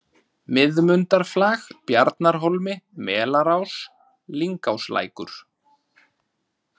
Miðmundarflag, Bjarnarhólmi, Melarás, Lyngáslækur